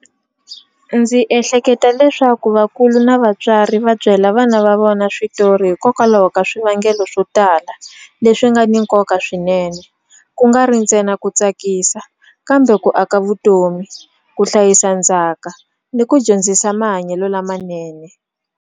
Ndzi ehleketa leswaku vakulu na vatswari va byela vana va vona switori hikokwalaho ka swivangelo swo tala leswi nga ni nkoka swinene ku nga ri ntsena ku tsakisa kambe ku aka vutomi ku hlayisa ndzhaka ni ku dyondzisa mahanyelo lamanene.